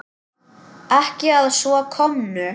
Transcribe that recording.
Ekki að svo komnu.